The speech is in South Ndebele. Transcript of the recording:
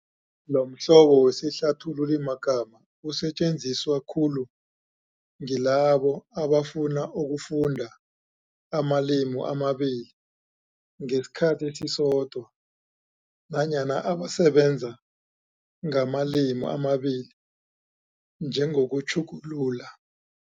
Lomhlobo wesihlathululimagama usetjenziswa khulu ngilabo abafuna ukufunda amalimi amabili ngesikhathi esisodwa nanyana abasebenza ngamalimi amabili njengokutjhugulula.